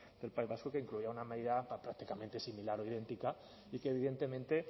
del país vasco que incluía una medida prácticamente similar o idéntica y que evidentemente